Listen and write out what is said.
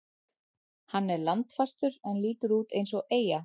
Hann er landfastur en lítur út eins og eyja.